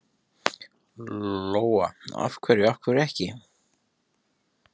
Lóa: Af hverju, af hverju ekki?